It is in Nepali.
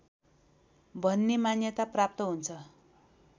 भन्ने मान्यता प्राप्त हुन्छ